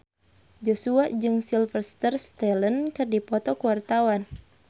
Joshua jeung Sylvester Stallone keur dipoto ku wartawan